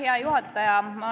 Hea juhataja!